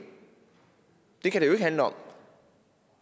det kan det ikke handle om